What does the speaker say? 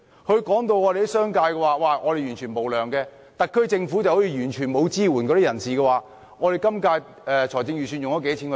他聲稱商界完全無良，而特區政府似乎完全沒有向有需要的人士提供支援。